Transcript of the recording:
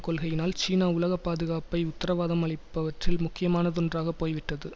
கொள்கையினால் சீனா உலக பாதுகாப்பை உத்தரவாதம் அளிப்பவற்றில் முக்கியமானதொன்றாகப் போய்விட்டது